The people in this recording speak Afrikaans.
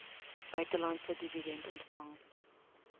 buitelandse dividende ontvang